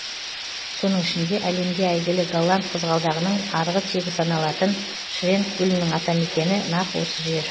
соның ішінде әлемге әйгілі голланд қызғалдағының арғы тегі саналатын шренк гүлінің атамекені нақ осы жер